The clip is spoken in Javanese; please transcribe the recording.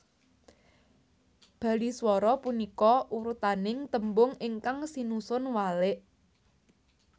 Baliswara punika urutaning tembung ingkang sinusun walik